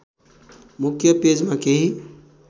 मुख्य पेजमा केही